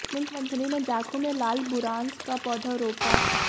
मुख्यमंत्री ने जाखू में लाल बुरांस का पौधा रोपा